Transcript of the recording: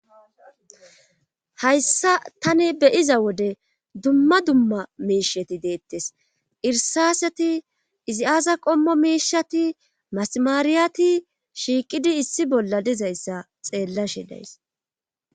Hayssa tani beyiza wode dumma dumma meisheti deettes irsaaseti izi aaza qommo miishati maasamaariyati shiiqidi issi bolla dizayssa xeella shi days.